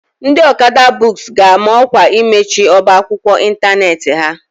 Ndị Okada books ga-ama ọkwa imechi ọba akwụkwọ ịntanetị ha.